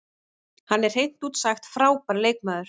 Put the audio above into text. Hann er hreint út sagt frábær leikmaður.